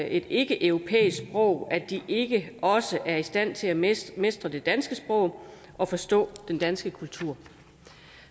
et ikkeeuropæisk sprog sådan at de ikke også er i stand til at mestre mestre det danske sprog og forstå den danske kultur